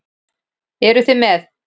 Eruð þið með?